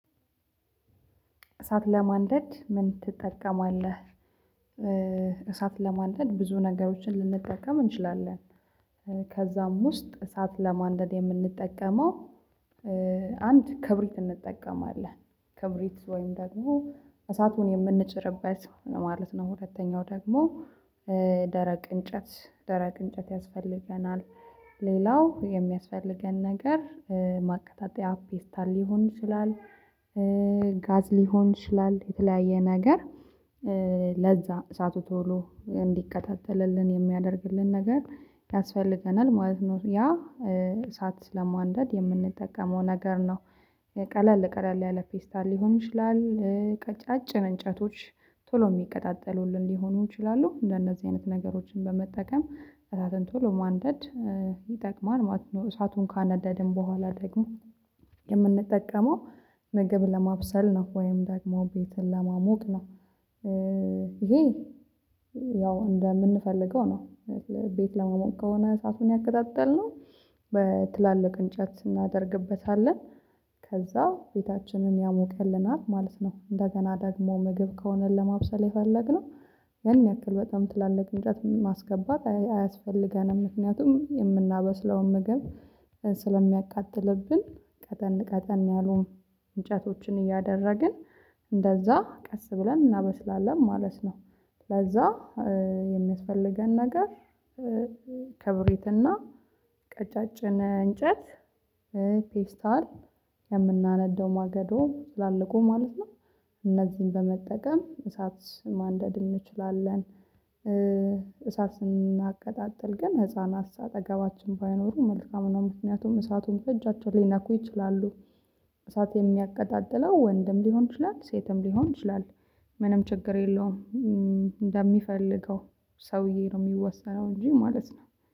እሳት ለማንደድ ምን ትጠቀማለህ? እሳት ለማንደድ ብዙ ነገሮችን ልንጠቀም እንችላለን። ከዛም ውስጥ እሳት ለማንደድ የምንጠቀመው አንድ ክብሪት እንጠቀማለን ክብሪት ወይም ደግሞ እሳቱን የምንጭርበት ማለት ነው። ሁለተኛው ደግሞ ደረቅ እንጨት ደረቅ እንጨት ያስፈልገናል። ሌላው የሚያስፈልገን ነገር ማቀጣጠያ ፌስታል ሊሆን ይችላል። ጋዝ ሊሆን ይችላል የተለያየ ነገር። ለዛ እሳቱ ቶሎ እንዲቀጣጠልልን የሚያደርግልን ነገር ያስፈልገናል ማለት ነው። ያ እሳት ለማንደድ የምንጠቀመው ነገር ነው። ቀለል ቀለል ያለ ፌስታል ሊሆን ይችላል። ቀጫጭን እንጨቶች ቶሎ የሚቀጣጠሉልን ሊሆኑ ይችላሉ እንደነዚህ አይነት ነገሮችን በመጠቀም እሳትን ቶሎ ማንደድ ይጠቅማል ማለት ነው። እሳቱን ካነደድን በኋላ ደግሞ የምንጠቀመው ምግብ ለማብሰል ነው ወይም ደግሞ ቤትን ለማሞቅ ነው። ይሄ ያው እንደምንፈልገው ነው ቤት ለመሞቅ ከሆነ እሳቱን ያቀጣጠልነው በትላልቅ እንጨት ስናደርግበት ከዛ ቤታችንን ያሞቅልናል ማለት ነው። እንደገና ደግሞ ምግብ ከሆነ ለማብሰል የፈለግነው ያን ያክል በጣም ትላልቅ እንጨት ማስገባት አያስፈልገንም ምክንያቱም የምናበስለውን ምግብ ስለሚያቃጥልብን ቀጠን ቀጠን ያሉን እንጨቶችን እያደረግን እንደዛ ቀስ ብለን እናበስላለን ማለት ነው። ለዛ የሚያስፈልገን ነገር ከብሪትና ቀጫጭን እንጨት ፌስታል የምናነደው ማገዶ ትላለቁን ማለት ነው። እነዚህን በመጠቀም እሳት ማንደድ እንችላለን። እሳት ስናቀጣጥል ግን ህፃናት አጠገባችን ባይኖሩ መልካም ነው ምክንያቱም እሳቱን በእጃቸው ሊነኩ ይችላሉ። እሳት የሚያቀጣጥለው ወንድም ሊሆን ይችላል ሴትም ሊሆን ይችላል። ምንም ችግር የለውም። እንደሚፈልገው ሰውዬ ነው የሚወሰነው እንጂ ማለት ነው